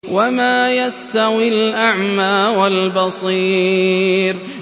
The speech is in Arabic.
وَمَا يَسْتَوِي الْأَعْمَىٰ وَالْبَصِيرُ